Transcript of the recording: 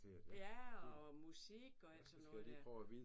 Ja og musik og alt sådan noget der